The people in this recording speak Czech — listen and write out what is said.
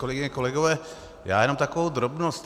Kolegyně, kolegové, já jenom takovou drobnost.